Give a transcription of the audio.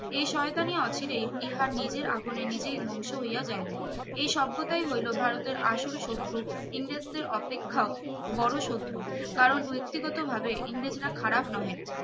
এই শয়তানি অচিরে ইহার নিজের আগুনে নিজেই ধ্বংস হইয়া যাইবে এই সভ্যতাই হইল ভারতের আসল শত্রু ইংরেজদের অপেক্ষাও বড় শত্রু কারণ ব্যক্তিগত ভাবে ইংরেজরা খারাপ নহে